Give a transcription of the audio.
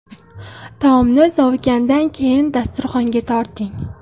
Taomni sovigandan keyin dasturxonga torting.